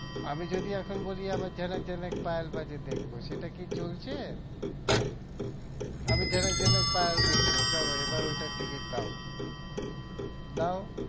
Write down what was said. আমি যদি এখন বলি আমি ঝনক ঝনক পায়েল বাজে দেখবো সেটা কি চলছে? আমি ঝনক ঝনক পায়েল দেখবো চলো এবার ওইটার ticket দাও দাও